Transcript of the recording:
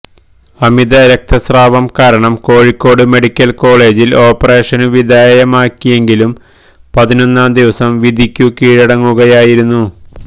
അമിത രക്തസ്രാവം കാരണം കോഴിക്കോട് മെഡിക്കല് കോളജില് ഓപ്പറേഷനു വിധേയമാക്കിയെങ്കിലും പതിനൊന്നാം ദിവസം വിധിക്കു കീഴടങ്ങുകയായിരുന്നു